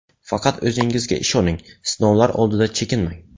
Faqat o‘zingizga ishoning, sinovlar oldida chekinmang.